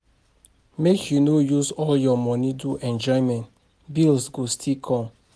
Make you no use all your money do enjoyment, bills go still come.